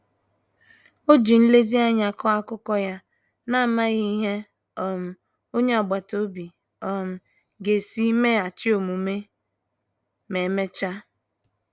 Ọ ji nlezianya kọọ akụkọ ya, n'amaghị ihe um onye agbata obi um ga-esi meghachi omume ma emechaa.